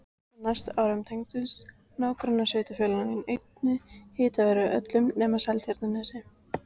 Á næstu árum tengdust nágrannasveitarfélögin einnig hitaveitunni öll nema Seltjarnarnes.